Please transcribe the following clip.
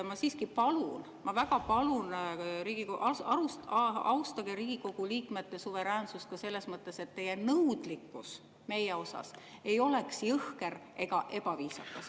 Ma siiski palun, ma väga palun: austage Riigikogu liikmete suveräänsust ka selles mõttes, et teie nõudlikkus meie vastu ei oleks jõhker ega ebaviisakas.